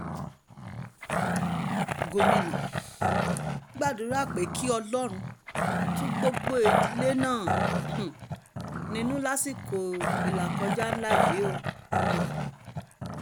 gomina gbàdúrà pé kí ọlọ́run tu gbogbo ìdílé náà um nínú lásìkò ìlàkọjá ńlá yìí um